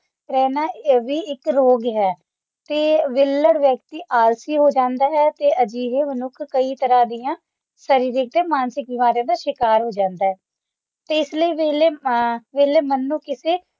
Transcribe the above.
ਰਹਿਣਾ ਵੀ ਇਕ ਰੋਗ ਹੈ ਤੇ ਵੇਹਲਾ ਵਿਅਕਤੀ ਆਲਸੀ ਹੋ ਜਾਂਦਾ ਹੈ ਤੇ ਅਜਿਹੇ ਮਨੁੱਖ ਕਈ ਤਰ੍ਹਾਂ ਦੀਆ ਸ਼ਾਰੀਰਿਕ ਤੇ ਮਾਨਸਿਕ ਬਿਮਾਰੀਆਂ ਦਾ ਸ਼ਿਕਾਰ ਹੋ ਜਾਂਦਾ ਹੈ ਤੇ ਇਸ ਲਈ ਵੇਹਲੇ ਅ ਵੇਹਲੇ ਮਨ ਨੂੰ ਕਿਸੇ